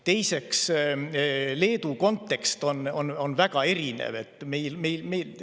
Teiseks, Leedu kontekst on väga erinev.